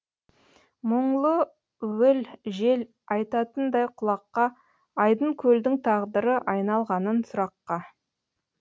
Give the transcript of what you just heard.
мұңлы уіл жел айтатындай құлаққа айдын көлдің тағдыры айналғанын сұраққа